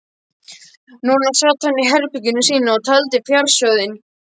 Núna sat hann í herberginu sínu og taldi fjársjóðinn.